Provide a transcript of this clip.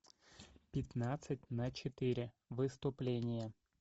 пятнадцать на четыре выступление